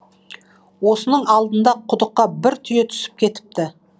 осының алдында құдыққа бір түйе түсіп кетіпті